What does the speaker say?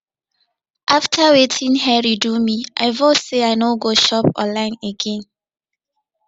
after wetin henry do me i vow say i no go shop online again